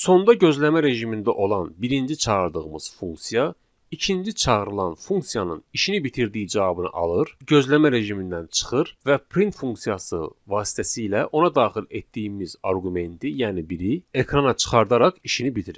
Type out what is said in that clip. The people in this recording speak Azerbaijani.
Sonda gözləmə rejimində olan birinci çağırdığımız funksiya, ikinci çağırılan funksiyanın işini bitirdiyi cavabını alır, gözləmə rejimindən çıxır və print funksiyası vasitəsilə ona daxil etdiyimiz arqumenti, yəni biri ekrana çıxardaraq işini bitirir.